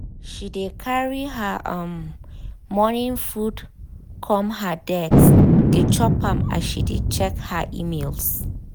she dey carry her um morning food come her desk dey chop am as she dey check her emails.